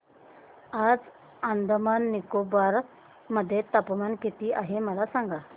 आज अंदमान आणि निकोबार मध्ये तापमान किती आहे मला सांगा